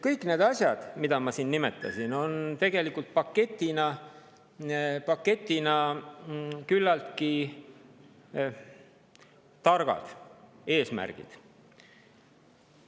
Kõik need asjad, mida ma siin nimetasin, on tegelikult paketina küllaltki targad eesmärgid.